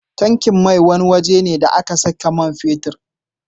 Tankin mai waje ne da ake saka man fetir ne